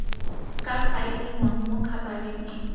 ka faeliwang mo khabareng e